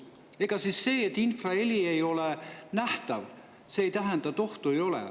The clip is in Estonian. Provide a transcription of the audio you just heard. Ega see, et infraheli ei ole nähtav, ei tähenda, et ohtu ei ole.